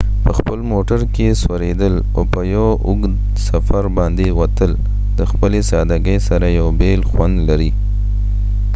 په خپل موټر کې سوریدل او په یو اوږد سفر باندي وتل د خپلی سادګۍ سره یو بیل خوند لري